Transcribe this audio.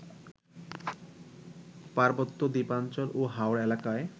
পার্বত্য, দ্বীপাঞ্চল ও হাওড় এলাকায়